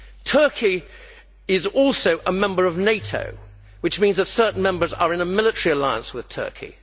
Turkey is also a member of NATO, which means that certain Members are in a military alliance with Turkey.